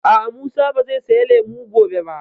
A'a, Musa ba zai saya lemu gobe ba